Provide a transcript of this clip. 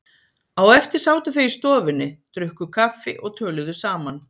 Á eftir sátu þau í stofunni, drukku kaffi og töluðu saman.